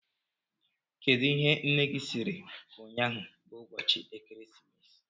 Kedụ ihe nne gị sịrị ụnyaahụ bụ ụbọchị Ekeresimesi?